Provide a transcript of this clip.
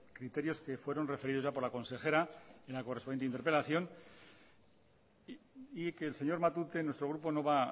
criterios que fueron referidos por la consejera en la correspondiente interpelación y que el señor matute nuestro grupo no va